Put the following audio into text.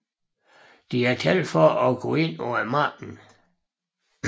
Diatel for at gå ind på markedet